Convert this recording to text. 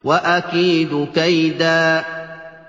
وَأَكِيدُ كَيْدًا